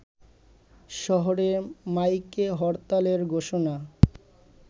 শহরে মাইকে হরতালের ঘোষণা